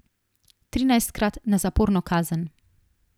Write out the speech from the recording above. Trinajstkrat na zaporno kazen.